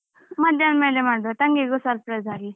ಮಧ್ಯಾಹ್ನ ಮೇಲೆ ಮಾಡುವ ತಂಗಿಗು surprise ಆಗ್ಲಿ.